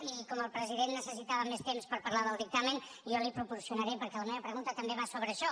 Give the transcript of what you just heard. i com el president necessitava més temps per parlar del dictamen jo l’hi proporcionaré perquè la meva pregunta també va sobre això